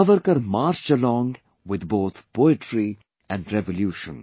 Savarkar marched alongwith both poetry and revolution